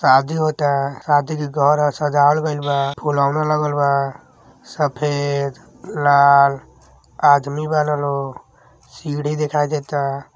सादी होता। सादी के घर ह सजावल गइल बा। फुलौना लागल बा। सफ़ेद लाल आदमी बानलों लोग। सीढ़ी दिखाई देता।